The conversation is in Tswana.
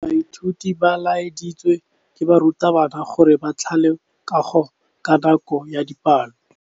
Baithuti ba laeditswe ke morutabana gore ba thale kagô ka nako ya dipalô.